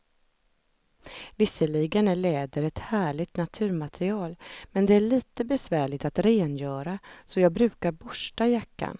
Visserligen är läder ett härligt naturmaterial, men det är lite besvärligt att rengöra, så jag brukar borsta jackan.